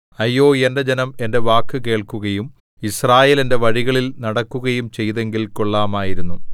അയ്യോ എന്റെ ജനം എന്റെ വാക്കു കേൾക്കുകയും യിസ്രായേൽ എന്റെ വഴികളിൽ നടക്കുകയും ചെയ്തെങ്കിൽ കൊള്ളാമായിരുന്നു